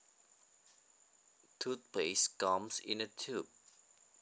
Toothpaste comes in a tube